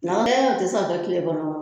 Na ɛɛ o te se ka kɛ kile kɔrɔ